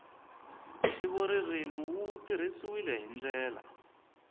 ntivoririmi wu tirhisiwile hi ndlela